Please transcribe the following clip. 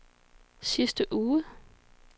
sidste uge